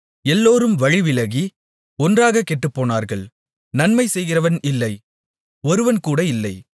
எல்லோரும் வழிவிலகி ஒன்றாகக் கெட்டுப்போனார்கள் நன்மை செய்கிறவன் இல்லை ஒருவன்கூட இல்லை